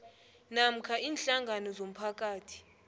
namkha iinhlangano zomphakathi